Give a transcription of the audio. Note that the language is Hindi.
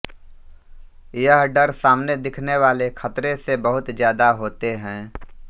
यह डर सामने दिखने वाले खतरे से बहुत ज्यादा होते हैं